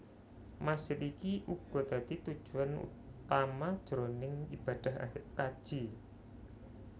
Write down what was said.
Masjid iki uga dadi tujuan utama jroning ibadah kaji